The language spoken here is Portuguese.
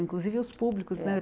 Inclusive os públicos, né?